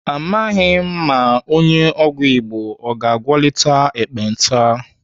Amaghị m ma onye ọgwụ Igbo ọ ga-agwọtali ekpenta.